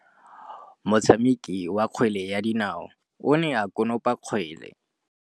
Motshameki wa kgwele ya dinaô o ne a konopa kgwele.